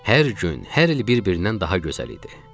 Hər gün, hər il bir-birindən daha gözəl idi.